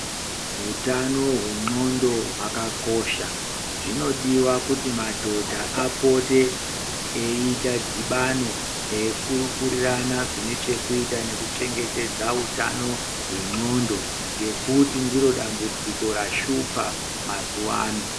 Utano hwenxondo hwakakosha. Zvinodiwa kuti madhodha apote eite dhibano eikurukurirana zvine chekuita nekuchengetedze utano hwenxondo ngekuti ndiro dambudziko rashupa mazuwa ano.